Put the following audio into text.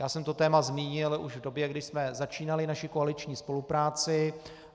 Já jsem to téma zmínil už v době, kdy jsme začínali naši koaliční spolupráci.